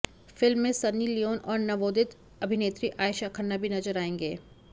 film में Sunny Leone और नवोदित अभिनेत्री आएशा खन्ना भी नजर आएंगे